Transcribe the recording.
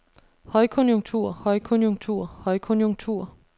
højkonjunktur højkonjunktur højkonjunktur